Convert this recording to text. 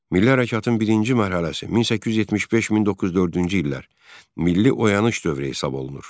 Milli hərəkatın birinci mərhələsi 1875-1904-cü illər milli oyanış dövrü hesab olunur.